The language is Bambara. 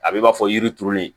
A bɛ i n'a fɔ yiri turulen